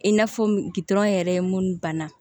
I n'a fɔ gutɔrɔn yɛrɛ ye mun banna